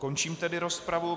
Končím tedy rozpravu.